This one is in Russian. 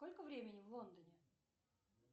сколько времени в лондоне